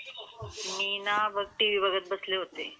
मी ना बघ टीव्ही बघत बसले होते.